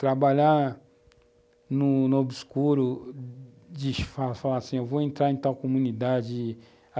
Trabalhar no no obscuro, de falar falar assim, vou entrar em tal comunidade.